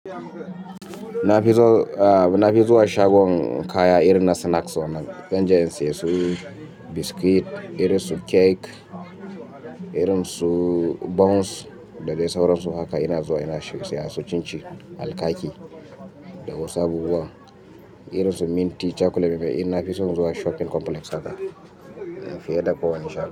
Na fi zuwa shagon kaya irin na snacks wannan. Zan je in siye su biscuit, irin su cake, irin su buns da dai sauransu haka. Ina zuwa ina siya su cinci, alkaki da wasu abubuwan irin su minti, chocolate. Na fi son zuwa shopping complex haka fiye da kowane shagon.